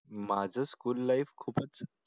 माझं school life खूपच